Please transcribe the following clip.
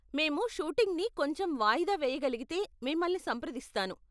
మేము షూటింగ్ని కొంచెం వాయుదా వేయగలిగితే మిమ్మల్ని సంప్రదిస్తాను.